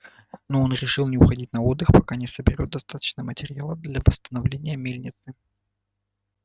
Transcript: но он решил не уходить на отдых пока не соберёт достаточно материала для восстановления мельницы